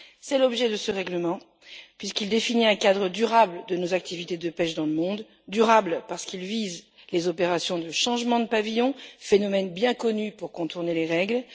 C'est l'objet de ce règlement, puisqu'il définit un cadre durable de nos activités de pêche dans le monde durable parce qu'il vise les opérations de changement de pavillon, phénomène bien connu pour contourner les règles